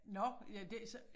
Nåh ja det så